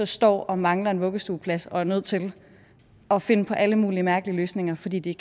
står og mangler en vuggestueplads og er nødt til at finde på alle mulige mærkelige løsninger fordi de